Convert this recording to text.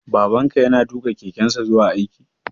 Baban ka ya na tuƙa kekensa zuwa aiki?